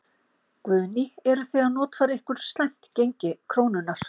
Guðný: Eruð þið að notfæra ykkur slæmt gengi krónunnar?